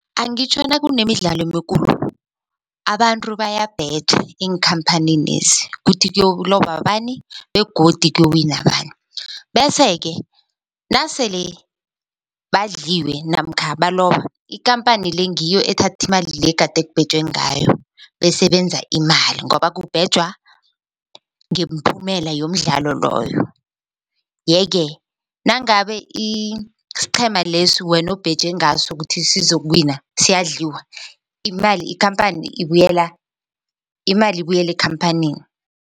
Angitjho nakunemidlalo emikhulu abantu bayabheja eenkhamphanini lezi kuthi kuyokuloba bani begodu kuyowina bani, bese-ke nasele badliwe namkha baloba ikhamphani le ngiyo ethathimali le egade kubhejwe ngayo bese benza imali ngoba kubhejwa ngeemphumela yomdlalo loyo. Yeke nangabe isiqhema lesi wena obheje ngaso ukuthi sizokuwina siyadliwa imali ikhamphani ibuyela imali ibuyela ekhamphanini.